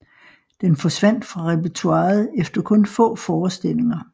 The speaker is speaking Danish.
Den forsvandt fra repertoiret efter kun få forestillinger